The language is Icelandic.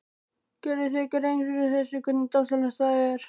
Gerirðu þér grein fyrir hversu dásamlegt það er?